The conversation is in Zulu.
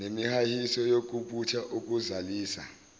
nemihahiso yokubutha ukuzalisa